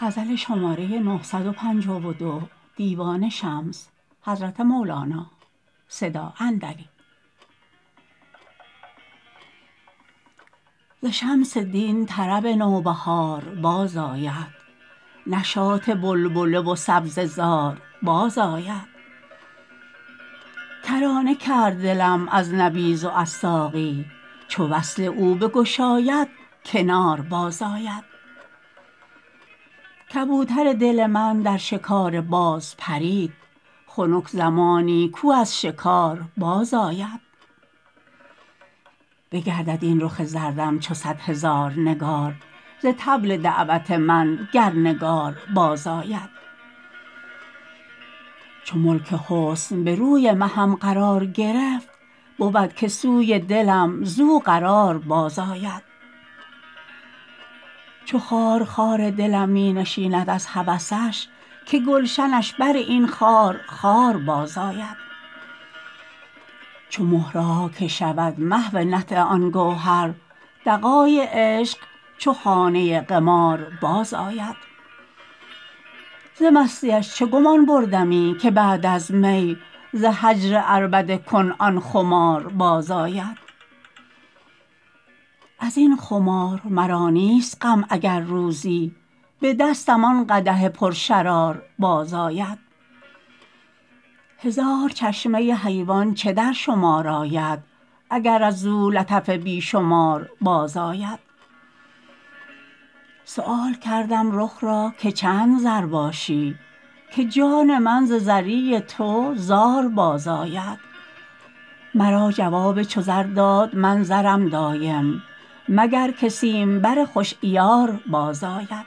ز شمس دین طرب نوبهار بازآید نشاط بلبله و سبزه زار بازآید کرانه کرد دلم از نبیذ و از ساقی چو وصل او بگشاید کنار بازآید کبوتر دل من در شکار باز پرید خنک زمانی کو از شکار بازآید بگردد این رخ زردم چو صد هزار نگار ز طبل دعوت من گر نگار بازآید چو ملک حسن به روی مهم قرار گرفت بود که سوی دلم زو قرار بازآید چو خارخار دلم می نشیند از هوسش که گلشنش بر این خار خار بازآید چو مهرها که شود محو نطع آن گوهر دغای عشق چو خانه قمار بازآید ز مستی اش چه گمان بردمی که بعد از می ز هجر عربده کن آن خمار بازآید از این خمار مرا نیست غم اگر روزی به دستم آن قدح پرشرار بازآید هزار چشمه حیوان چه در شمار آید اگر از او لطف بی شمار بازآید سؤال کردم رخ را که چند زر باشی که جان من ز زری تو زار بازآید مرا جواب چو زر داد من زرم دایم مگر که سیمبر خوش عیار بازآید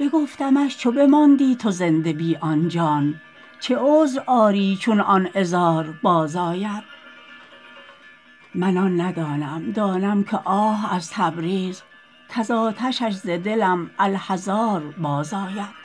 بگفتمش چو بماندی تو زنده بی آن جان چه عذر آری چون آن عذار بازآید من آن ندانم دانم که آه از تبریز کز آتشش ز دلم الحذار بازآید